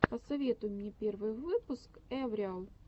посоветуй мне первый выпуск эвриал